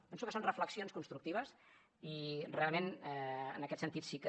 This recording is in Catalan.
penso que són reflexions constructives i realment en aquest sentit sí que